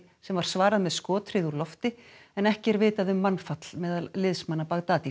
sem var svarað með skothríð úr lofti en ekki er vitað um mannfall meðal liðsmanna